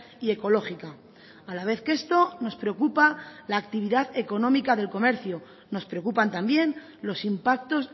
y ecológica a la vez que esto nos preocupa la actividad económica del comercio nos preocupan también los impactos